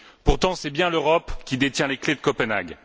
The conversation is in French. Pourtant, c'est bien l'Europe qui détient les clefs de Copenhague.